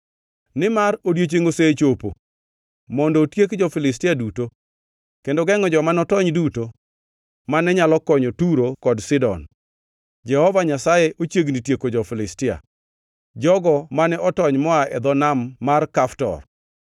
Nimar odiechiengʼ osechopo mondo otiek jo-Filistia duto, kendo gengʼo joma notony duto mane nyalo konyo Turo kod Sidon. Jehova Nyasaye ochiegni tieko jo-Filistia, jogo mane otony moa e dho nam mar Kaftor.